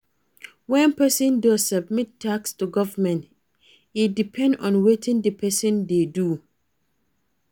When person dey submit tax to government e depend on wetin di person dey do